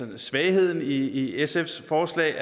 en svaghed i sfs forslag